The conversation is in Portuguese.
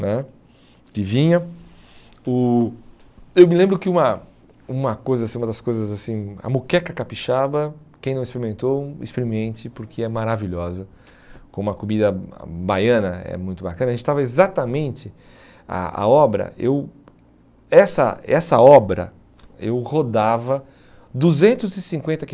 né que vinha o eu me lembro que uma uma coisa assim uma das coisas assim a moqueca capixaba quem não experimentou experimente porque é maravilhosa como a comida baiana é muito bacana a gente estava exatamente a a obra eu essa essa obra eu rodava duzentos e cinquenta